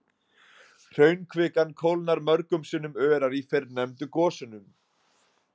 Hraunkvikan kólnar mörgum sinnum örar í fyrrnefndu gosunum.